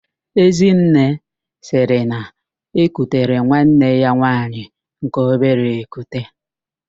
Ezinne sịrị na-ekutere nwanne ya nwaanyị nke obere ekute.